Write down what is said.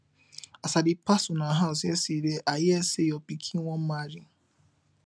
as i dey pass una house yesterday i hear say your pikin wan marry